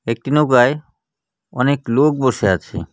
একটি নৌকায় অনেক লোক বসে আছে.